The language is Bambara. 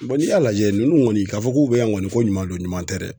n'i y'a lajɛ ninnu kɔni ka fɔ k'u be yan kɔni ko ɲuman don ɲuman tɛ dɛ